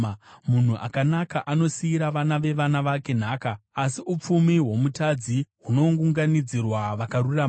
Munhu akanaka anosiyira vana vevana vake nhaka, asi upfumi hwomutadzi hunounganidzirwa vakarurama.